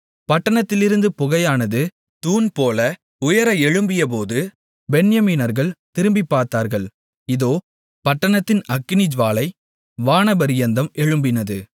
பட்டணத்திலிருந்து புகையானது தூண் போல உயர எழும்பியபோது பென்யமீனர்கள் திரும்பிப் பார்த்தார்கள் இதோ பட்டணத்தின் அக்கினிஜூவாலை வானபரியந்தம் எழும்பினது